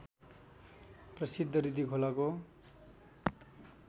प्रसिद्ध रिडी खोलाको